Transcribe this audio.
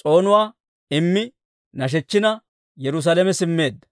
s'oonuwaa immi nashechina Yerusaalame simmeedda.